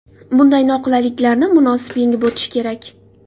Bunday noqulayliklarni munosib yengib o‘tish kerak.